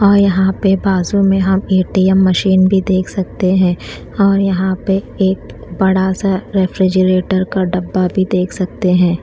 और यहाँ बाजु में हम ऐ_टी_ऍम मशीन भी देख सकते है और यहाँ पे एक बड़ा सा रेफ्रिजरेटर का डब्बा भी देख सकते है।